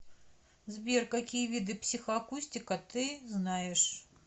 сбер какие виды психоакустика ты знаешь